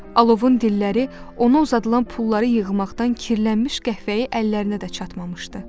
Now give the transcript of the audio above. Alovun dilləri ona uzadılan pulları yığmaqdan kirlənmiş qəhvəyi əllərinə də çatmamışdı.